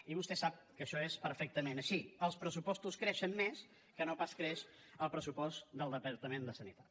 i vostè sap que això és perfectament així els pressupostos creixen més que no pas creix el pressupost del departament de sanitat